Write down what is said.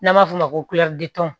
N'an b'a f'o ma ko